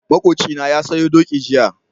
Makocina na sayo doki jiya.